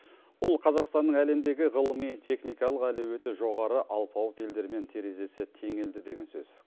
бұл қазақстанның әлемдегі ғылыми техникалық әлеуеті жоғары алпауыт елдермен терезесі теңелді деген сөз